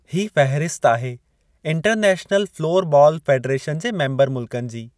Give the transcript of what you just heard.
ही फ़हिरसत आहे इंटरनैशनल फ़्लोर बालु फ़ेडरेशन जे मेम्बर मुल्कनि जी।